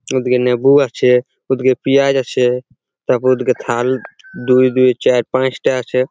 ওদিকে লেবু আছে ওদিকে পিয়াজ আছে | তারপর ওইদিকে দুই দুই খাল পাঁচটা আছে ।